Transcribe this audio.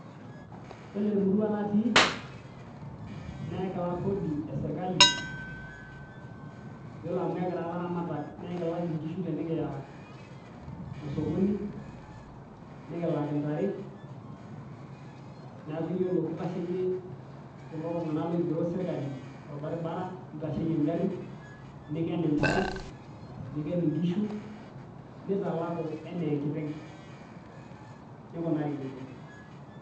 Ore temurua natii naa ekilak kodi esirkali iyiolo amu ekira ilaramatak neekilak inkishu tenikiya osokoni nikilak intare neeku iyiolo kitasheyie kulo tung'anak ooigero sirkali torbaribara neitasheyie ingarin niken intare niken inkishu neitalaku enaa enkiteng neikunari nejia.